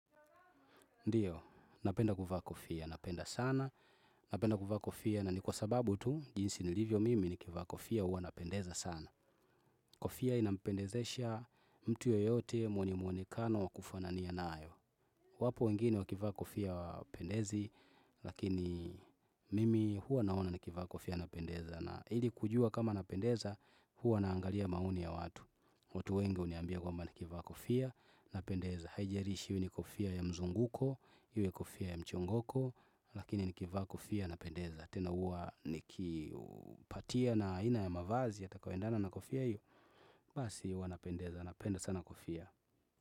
Ndiyo, napenda kuvaa kofia, napenda sana, napenda kuvaa kofia, na ni kwa sababu tu, jinsi nilivyo mimi ni kivaa kofia, huwa napendeza sana. Kofia inapendezesha mtu yoyote, mwenye mwonekano wa kufanania nayo. Wapo wengine wakivaa kofia hawapendezi, lakini mimi huwa naona nikivaa kofia napendeza, na ili kujua kama napendeza, huwa naangalia maoni ya watu. Watu wengi huniambia kwamba nikivaa kofia, napendeza. Hiajarishi iwe ni kofia ya mzunguko, iwe kofia ya mchongoko. Lakini nikivaa kofia, napendeza. Tena huwa nikipatia na aina ya mavazi yatakayoendana na kofia hiyo. Basi huwa napendeza, napenda sana kofia.